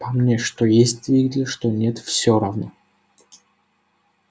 по мне что есть двигатель что нет всё равно